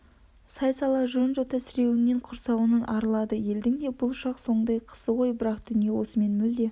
сай-сала жон-жота сіреуінен құрсауынан арылады елдің де бұл шақ соңдай қысы ғой бірақ дүние осымен мүлде